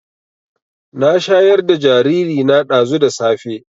Na shayar da jariri na ɗazu da safe